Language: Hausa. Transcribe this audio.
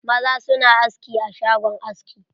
Maza su na aski a shagon aski.